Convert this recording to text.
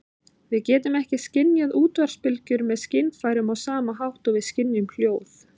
Við getum ekki skynjað útvarpsbylgjur með skynfærunum á sama hátt og við skynjum hljóð.